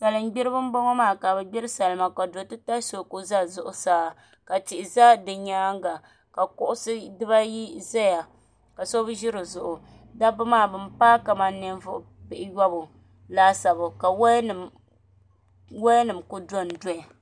Salin gbiribi n boŋo maa ka bi gbiri salima ka do titali so ku ʒɛ zuɣusa ka tihi ʒɛ di nyaanga ka kuɣusi dibayi ʒɛya ka so bi ʒi dizuɣu dabba maa bin paai kamani ninvuɣu pihiyobu laasabu ka woya nim ku dondoya